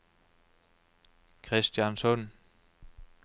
Kristiansund